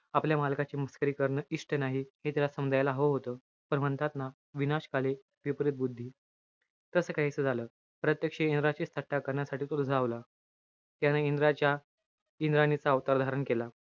आपल्या मालकाची मस्करी करणं इष्ट नाही. हे त्याला समजायला हवं होतं. पण म्हणतात ना, विनाशकाले विपरीत बुद्धी. तस काहीस झालं. प्रत्यक्ष इंद्राचीच थट्टा करण्यासाठी तो रिझावला. त्यानं इंद्राच्या, इंद्राणीचा अवतार धारण केला.